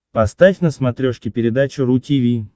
поставь на смотрешке передачу ру ти ви